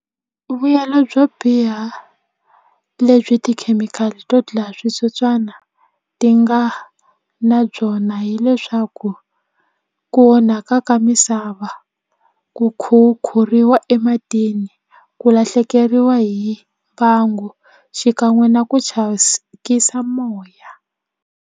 Vuyelo byo biha lebyi tikhemikhali to dlaya switsotswana ti nga na byona hileswaku ku onhaka ka misava ku khukhuriwa ematini ku lahlekeriwa hi mbangu xikan'we na ku moya.